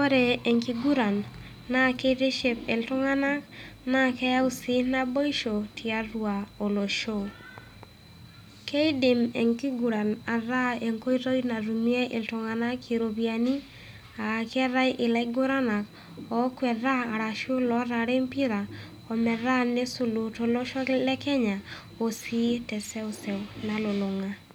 Ore enkiguran naa keitiship iltung'ana, naa keyau sii naboisho tiatua olosho. Keidim enkiguran ataa enkoitoi natumie iltung'ana iropiani, aa keatai ilaiguranak ookwetitaa arashu otaara empira ometaa neisulutono tolosho le Kenya o sii te seuseu nalulung'a.